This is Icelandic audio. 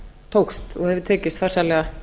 tókst og hefur tekist farsællega